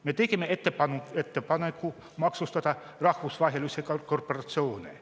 Me tegime ettepaneku maksustada rahvusvahelisi korporatsioone.